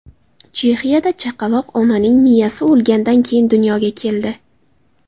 Chexiyada chaqaloq onaning miyasi o‘lgandan keyin dunyoga keldi.